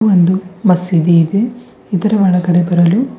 ಒಂದು ಮಸೀದಿ ಇದೆ ಇದರ ಒಳಗಡೆ ಬರಲು --